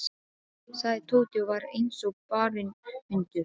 sagði Tóti og var eins og barinn hundur.